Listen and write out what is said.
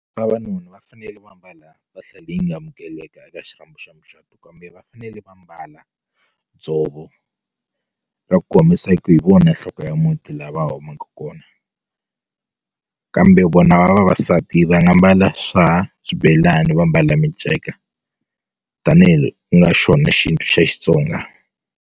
Vavanuna va fanele va mbala mpahla leyi nga amukeleka eka xirhambo xa mucatu kambe va fanele va mbala dzovo ra ku kombisa ku hi vona nhloko ya muti la va humaku kona kona kambe vona vavasati va nga mbala swa swibelani va mbala minceka tanihi ku nga xona xintu xa Xitsonga.